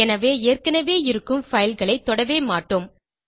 எனவே ஏற்கனவே இருக்கும் fileகளை தொடவே மாட்டோம்